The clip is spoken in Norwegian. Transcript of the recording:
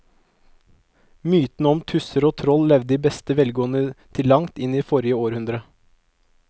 Mytene om tusser og troll levde i beste velgående til langt inn i forrige århundre.